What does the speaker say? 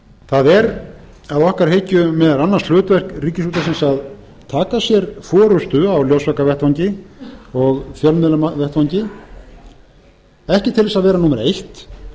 það er að okkar hyggju meðal annars hlutverk ríkisútvarpsins að taka sér forustu á ljósvakavettvangi og fjölmiðlavettvangi ekki til þess að vera númer eitt